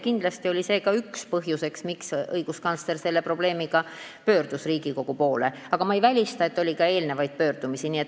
Kindlasti oli see ka üks põhjusi, miks õiguskantsler selle probleemiga Riigikogu poole pöördus, aga ma ei välista, et oli ka eelnevaid pöördumisi.